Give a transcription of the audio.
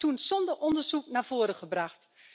Dat is toen zonder onderzoek naar voren gebracht.